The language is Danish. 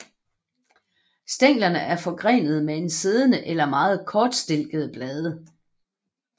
Stænglerne er forgrenede med siddende eller meget kortstilkede blade